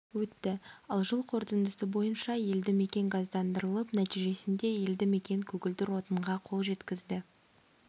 өтті ал жыл қорытындысы бойынша елді мекен газдандырылып нәтижесінде елді мекен көгілдір отынға қол жеткізді